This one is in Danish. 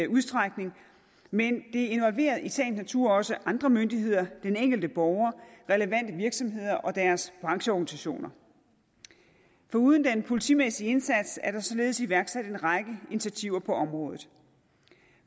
udstrækning men det involverer i sagens natur også andre myndigheder den enkelte borger relevante virksomheder og deres brancheorganisationer foruden den politimæssige indsats er der således iværksat en række initiativer på området